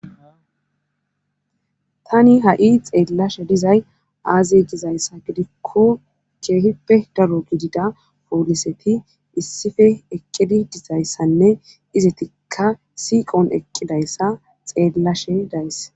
Tani ha7i xeellashe dizay aaze dizayssa gidikko keehippe daro gidida pooliseti issife eqqidi dizayssanne izetikka siiqon eqqidayssa xeellashe days